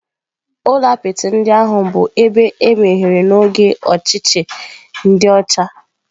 Ụlọ apịtị ndị ahụ bụ ebe emere n'oge ọchịchị ndi ocha.